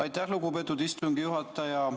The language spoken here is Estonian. Aitäh, lugupeetud istungi juhataja!